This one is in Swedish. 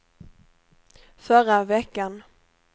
förra veckan